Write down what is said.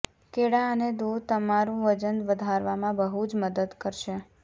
કેળા અને દૂધ તમારું વજન વધારવામં બહુ જ મદદ કરશે